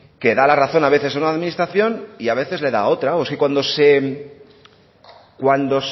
que da la razón a veces a una administración y a veces le da a otra o es que cuando